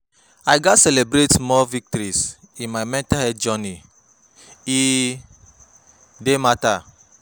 I gats celebrate small victories in my mental health journey; e dey matter.